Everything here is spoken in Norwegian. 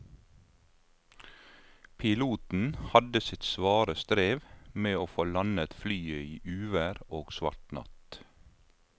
Piloten hadde sitt svare strev med å få landet flyet i uvær og svart natt.